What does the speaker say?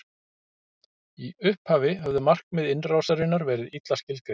í upphafi höfðu markmið innrásarinnar verið illa skilgreind